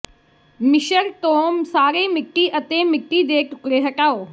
ਮਿਸ਼ਰ ਤੋਂ ਸਾਰੇ ਮਿੱਟੀ ਅਤੇ ਮਿੱਟੀ ਦੇ ਟੁਕੜੇ ਹਟਾਓ